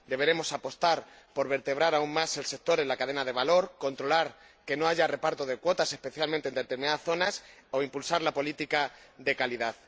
Deberemos apostar por vertebrar aún más el sector en la cadena de valor, controlar que no haya reparto de cuotas —especialmente en determinadas zonas— o impulsar la política de calidad.